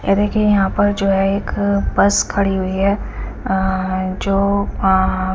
ऐ देखिए यहां पर जो है एक बस खड़ी हुई है अः जो अः--